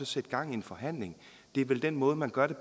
sætte gang i en forhandling det er vel den måde man gør